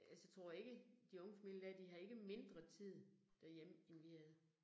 Altså tror ikke de unge familier, de har ikke mindre familier derhjemme end vi havde